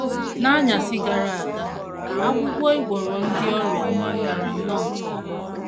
N’anyasị gara aga ọgwụgwọ ị gwọrọ ndị ọrịa gara nnọọ nke ọma.